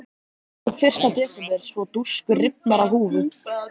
Lýk upp fyrsta desember svo dúskur rifnar af húfu.